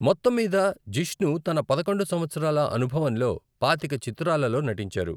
మొత్తంమీద, జిష్ణు తన పదకొండు సంవత్సరాల అనుభవంలో పాతిక చిత్రాలలో నటించారు.